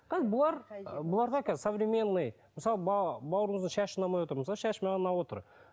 қазір бұлар ы бұларға қазір современный мысалы бауырымыздың шашы ұнамай отыр мысалы шашы маған ұнап отыр